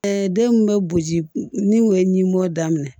denw bɛ boji ni o ye ɲimibɔ daminɛ